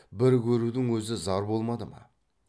бір көрудің өзі зар болмады ма